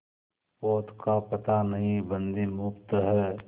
पोत का पता नहीं बंदी मुक्त हैं